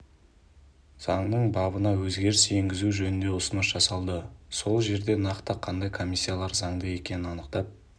заңның бабына өзгеріс енгізу жөнінде ұсыныс жасалды сол жерде нақты қандай комиссиялар заңды екенін анықтап